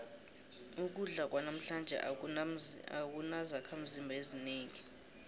ukudla kwanamhlanje akunazakhimzimba ezinengi